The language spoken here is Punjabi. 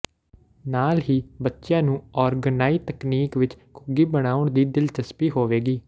ਨਾਲ ਹੀ ਬੱਚੀਆਂ ਨੂੰ ਔਰਗਨਾਈ ਤਕਨੀਕ ਵਿਚ ਘੁੱਗੀ ਬਣਾਉਣ ਵਿਚ ਦਿਲਚਸਪੀ ਹੋਵੇਗੀ